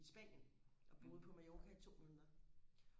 i Spanien og boede på Mallorca i to måneder